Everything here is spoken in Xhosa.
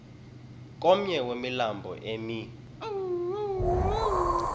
komnye wemilambo emi